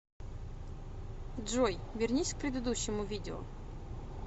джой вернись к предыдущему видео